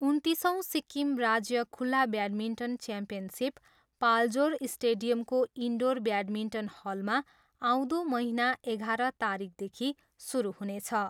उन्तिसौँ सिक्किम राज्य खुल्ला badminton championship Paljor स्टेडियमको इन्डोर ब्याडमिन्टन हलमा आउँदो महिना एघाह्र तारिकदेखि सुरु हुनेछ।